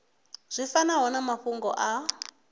zwi fanaho na mafhungo a